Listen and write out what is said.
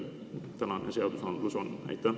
Tänan küsimuse eest!